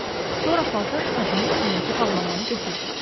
Sonra paltar şkafının üstündəki bağlamanı götürdü.